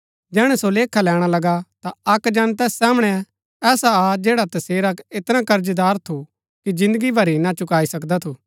जैहणै सो लेखा लैणा लगा ता अक्क जन तैस सामणै ऐसा आ जैडा तसेरा ऐतना कर्जदार थु कि जिन्दगी भरी ना चुकाई सकदा थू